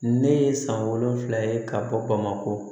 Ne ye san wolonwula ye ka bɔ bamakɔ